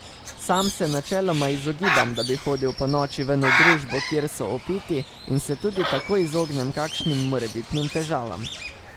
Sam se načeloma izogibam, da bi hodil ponoči ven v družbo, kjer so opiti, in se tudi tako izognem kakšnim morebitnim težavam.